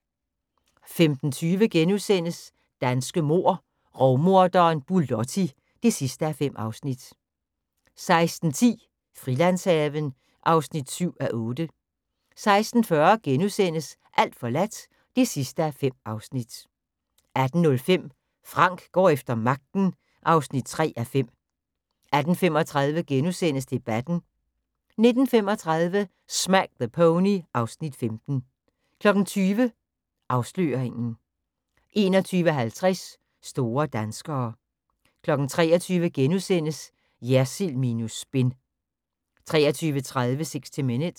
15:20: Danske mord: Rovmorderen Bulotti (5:5)* 16:10: Frilandshaven (7:8) 16:40: Alt forladt (5:5)* 18:05: Frank går efter magten (3:5) 18:35: Debatten * 19:35: Smack the Pony (Afs. 15) 20:00: Afsløringen 21:50: Store danskere 23:00: Jersild minus spin * 23:30: 60 Minutes